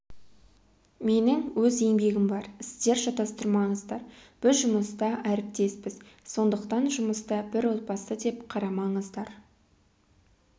менің өз еңбегім бар сіздер шатастырмаңыздар біз жұмыста әріптеспіз сондықтан жұмыста бір отбасы деп қарамаңыздар